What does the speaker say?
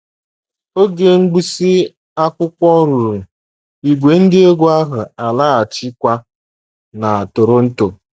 Oge mgbụsị akwụkwọ ruru, ìgwè ndị egwú ahụ alaghachikwa na Toronto.